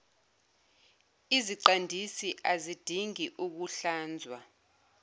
iziqandisi azidingi ukuhlanzwa